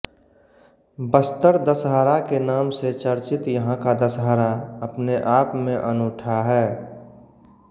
बस्तर दशहरा के नाम से चर्चित यहाँ का दशहरा अपने आप में अनूठा है